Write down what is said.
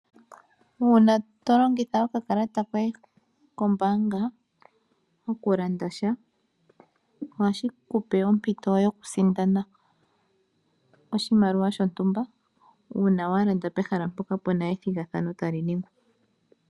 Uuna to longitha okakalata koye kombaanga moku landa sha, ohashi kupe ompito yokusindana oshimaliwa shontumba uuna wa landa pehala mpoka tapu sindanwa.